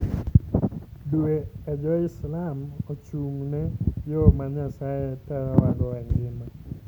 Dwe e jo-Islam ochung'ne yo ma Nyasaye tayowago e ngima.